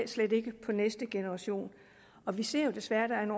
slet ikke på næste generation og vi ser jo desværre der er en